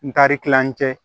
N taar'an cɛ